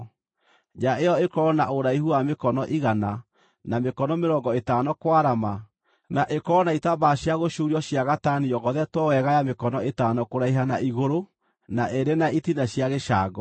Nja ĩyo ĩkorwo na ũraihu wa mĩkono igana, na mĩkono mĩrongo ĩtano kwarama, na ĩkorwo na itambaya cia gũcuurio cia gatani yogothetwo wega ya mĩkono ĩtano kũraiha na igũrũ, na ĩrĩ na itina cia gĩcango.